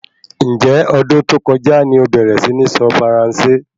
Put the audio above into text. Njẹ́ ọdún tó kọjá ni obẹ̀rẹ̀ si ní sọ faransé?